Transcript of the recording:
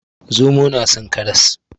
Zomo nason karas